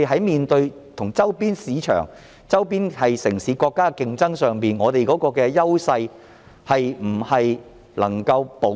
面對與周邊市場、城市及國家的競爭時，香港的優勢是否能夠保持？